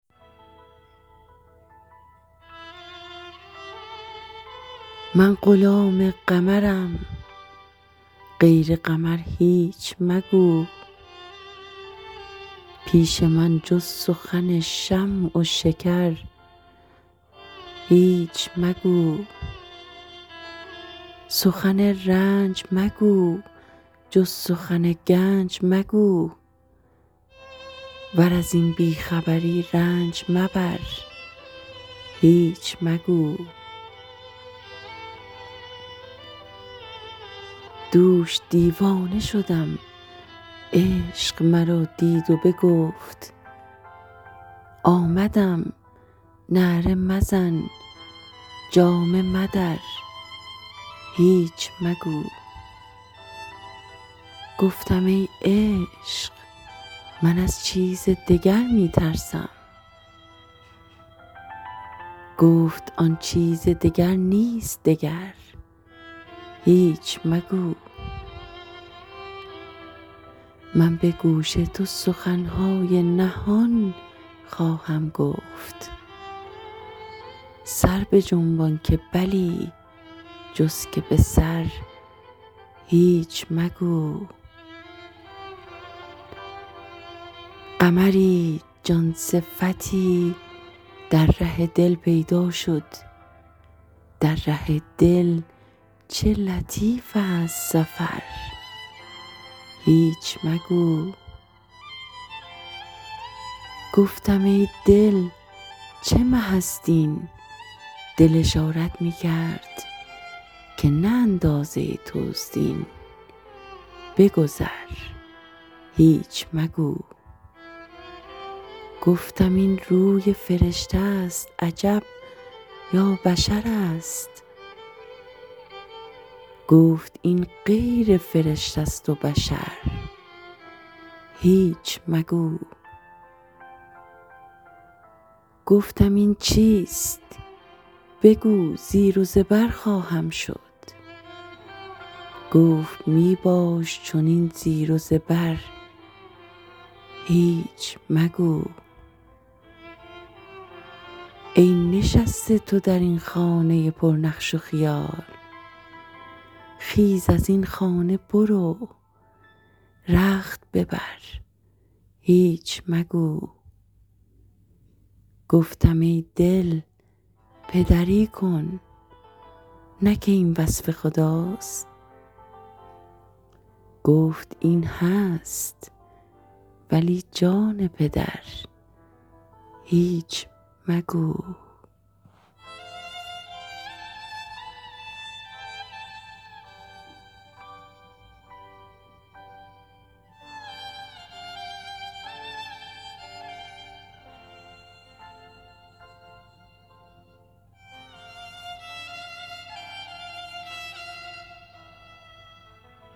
من غلام قمرم غیر قمر هیچ مگو پیش من جز سخن شمع و شکر هیچ مگو سخن رنج مگو جز سخن گنج مگو ور از این بی خبری رنج مبر هیچ مگو دوش دیوانه شدم عشق مرا دید و بگفت آمدم نعره مزن جامه مدر هیچ مگو گفتم ای عشق من از چیز دگر می ترسم گفت آن چیز دگر نیست دگر هیچ مگو من به گوش تو سخن های نهان خواهم گفت سر بجنبان که بلی جز که به سر هیچ مگو قمری جان صفتی در ره دل پیدا شد در ره دل چه لطیف ست سفر هیچ مگو گفتم ای دل چه مه ست این دل اشارت می کرد که نه اندازه توست این بگذر هیچ مگو گفتم این روی فرشته ست عجب یا بشرست گفت این غیر فرشته ست و بشر هیچ مگو گفتم این چیست بگو زیر و زبر خواهم شد گفت می باش چنین زیر و زبر هیچ مگو ای نشسته تو در این خانه پرنقش و خیال خیز از این خانه برو رخت ببر هیچ مگو گفتم ای دل پدری کن نه که این وصف خداست گفت این هست ولی جان پدر هیچ مگو